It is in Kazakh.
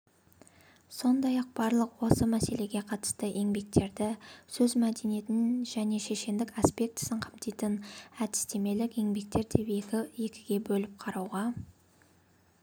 сондай-ақ барлық осы мәселеге қатысты еңбектерді сөз мәдениетін және шешендік аспектісін қамтитын әдістемелік еңбектер деп екіге бөліп қарауға